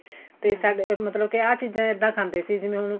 ਤੇ ਸਾਡਾ ਮਤਲਬ ਕੇ ਆਹ ਚੀਜ਼ਾਂ ਇੱਦਾਂ ਖਾਂਦੇ ਸੀ ਜਿਵੇਂ ਹੁਣ